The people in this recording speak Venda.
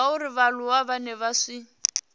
zwauri vhaaluwa vhane vha si